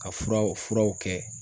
Ka furaw, furaw kɛ